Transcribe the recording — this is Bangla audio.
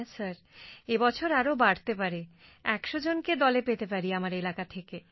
হ্যাঁ স্যার এ বছর আরো বাড়তে পারে ১০০ জনকে দলে পেতে পারি আমার এলাকা থেকে